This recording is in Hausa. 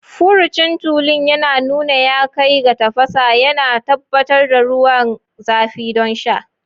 Furucin tulun ya nuna ya kai ga tafasa, yana tabbatar da ruwan zafi don sha.